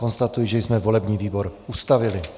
Konstatuji, že jsme volební výbor ustavili.